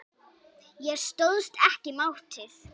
Ég stóðst ekki mátið.